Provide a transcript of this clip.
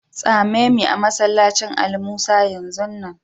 Tsame me a'masallacin Ali Musa yanzu nan!